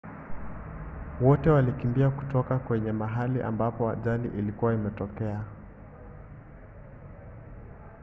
wote walikimbia kutoka kwenye mahali ambapo ajali ilikuwa imetokea